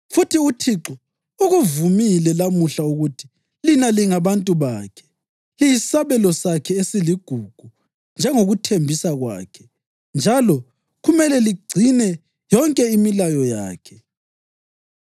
Futhi uThixo ukuvumile lamuhla ukuthi lina lingabantu bakhe, liyisabelo sakhe esiligugu njengokuthembisa kwakhe njalo kumele ligcine yonke imilayo yakhe.